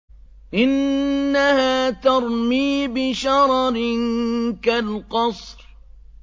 إِنَّهَا تَرْمِي بِشَرَرٍ كَالْقَصْرِ